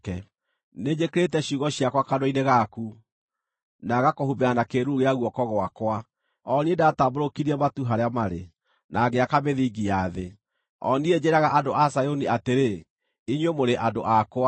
Nĩnjĩkĩrĩte ciugo ciakwa kanua-inĩ gaku, na ngakũhumbĩra na kĩĩruru gĩa guoko gwakwa, o niĩ ndatambũrũkirie matu harĩa marĩ, na ngĩaka mĩthingi ya thĩ, o niĩ njĩĩraga andũ a Zayuni atĩrĩ, ‘Inyuĩ mũrĩ andũ akwa.’ ”